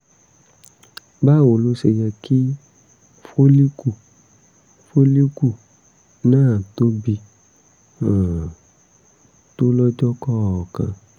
báwo ló ṣe yẹ kí fólíkù fólíkù náà tóbi um tó lọ́jọ́ kọ̀ọ̀kan?